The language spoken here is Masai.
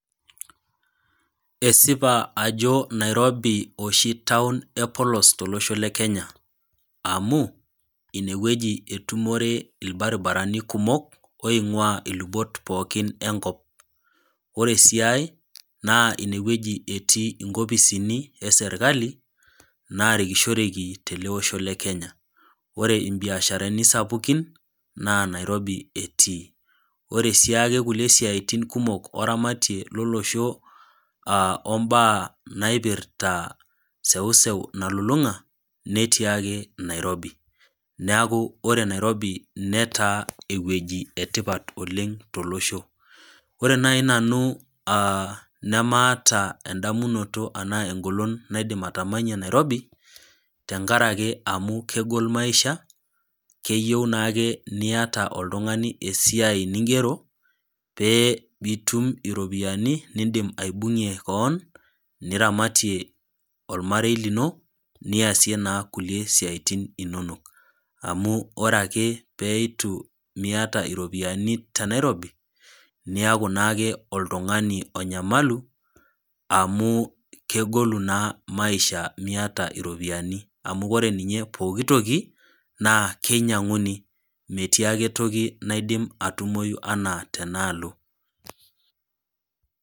Esipa ajo Nairobi oshi taun e polos tolosho le Kenya. Amu ine wueji etumore ilbaribarani kumok, oing'ua ilubot pookin enkop. Ore sii aai, ine wueji etii inkopisini kumok e sirkali, naarikishoreki teleosho le Kenya. Ore imbiasharani sapukin, naa Nairobi etii, ore sii ake kulie siatin kumok oramatie olosho o mbaa naipirta seuseu nalulung'a, netii ake Nairobi. Neaku ore nairobi netaa wueji e tipat oleng' tolosho. Kore naaji nanu nemaata endamunoto naidim atamanya Nairobi, tenkaraki egol maisha, keyou naake niata oltung'ani esiai ningero, pee itum iropiani, nindim aibung'ie keewon, niramatie olmarei lino, niasie naa kulie siatin inono, amu ore ake pee eitu miata iropiani te Nairobi, niaku naake oltung'ani onyamalu, amu kegolu naa maisha miata iropiani, amu ore pooki toki naa keinyang'uni, metii ake toki naidim atumoyu anaa tenaalo.